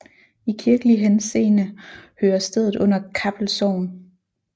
I kirkelig henseende hører stedet under Kappel Sogn